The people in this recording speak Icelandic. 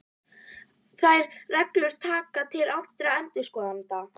Þær reglur taka til allra endurskoðenda.